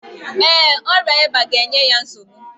Ee, ọrịa ịba ga-enye ya nsogbu.